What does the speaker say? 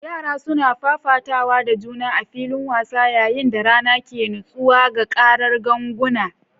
Yara suna fafatawa da juna a filin wasa yayin da rana ke nutsewa, ga karar ganguna.